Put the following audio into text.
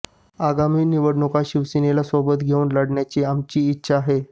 आगामी निवडणुका शिवसेनेला सोबत घेऊन लढण्याची आमची इच्छा आहे